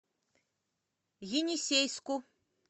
енисейску